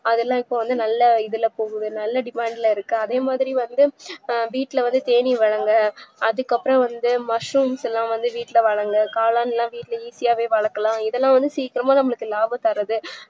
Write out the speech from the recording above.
அதுலா இப்போவந்து நல்ல இதுல போகுதுல நல்ல demand ல இருக்கு அதேமாதிரி வந்து வீட்ல வந்து தேனீ வரல அதுக்குஅப்றம் வந்த mashrooms ல வந்து வீட்ல வரல காளான்ல வந்து வீட்ல easy யாவே வளக்கலாம் இதுலாம் வந்து சீக்கிரமே லாபம் தரது